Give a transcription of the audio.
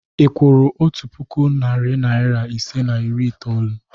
Ị kwụrụ otu puku, narị naịra ise na iri itoolu?